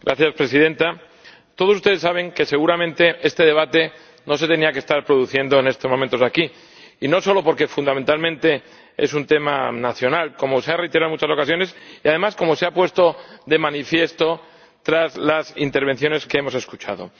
Señora Presidenta, todos ustedes saben que seguramente este debate no tendría que estar produciéndose en estos momentos aquí, y no solo porque fundamentalmente es un tema nacional, como se ha reiterado en muchas ocasiones y, además, como se ha puesto de manifiesto tras las intervenciones que hemos escuchado.